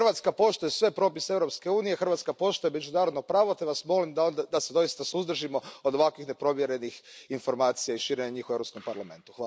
Hrvatska poštuje sve propise Europske unije, Hrvatska poštuje međunarodno pravo te vas molim da se doista suzdržimo od ovakvih neprovjerenih informacija i njihova širenja u Europskom parlamentu.